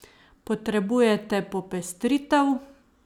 Potrebujete popestritev?